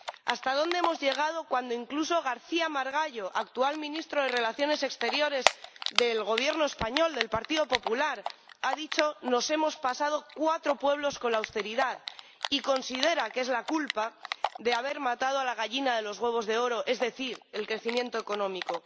¿Hasta dónde hemos llegado cuando incluso García Margallo, actual ministro de Asuntos Exteriores del Gobierno español del Partido Popular, ha dicho que nos hemos pasado cuatro pueblos con la austeridad y considera que esta es la culpable de haber matado a la gallina de los huevos de oro, es decir, el crecimiento económico?